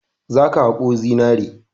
Za ka haƙo zinare!